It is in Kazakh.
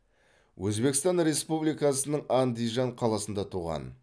өзбекстан республикасының андижан қаласында туған